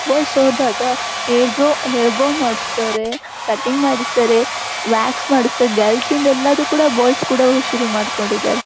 Boys ಹೋದಾಗ hair brow hair brow ಮಾಡ್ಸತ್ತಾರೆ cutting ಮಾಡಸ್ತಾರೆ ವ್ಯಾಕ್ಸ್ ಮಾಡಸ್ತಾರೇ ಗರ್ಲ್ಸ್ ಎಲ್ಲದನ್ನು ಕೂಡ ಬಾಯ್ಸ್ ಕೂಡ ಶುರು ಮಾಡಕೊಂಡಿದರೆ.